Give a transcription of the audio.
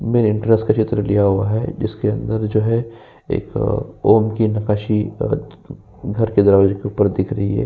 Main entrance का चित्र लिया हुआ है इसके अंदर जो है अ एक ॐ की नकाशी घर के दरवाज़े के ऊपर दिख रही है।